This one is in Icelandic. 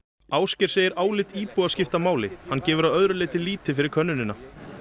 Ásgeir segir álit íbúa skipta máli hann gefur að öðru leyti lítið fyrir könnunina